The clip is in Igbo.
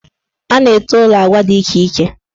A na-ete ụlọ agwa dị iche iche.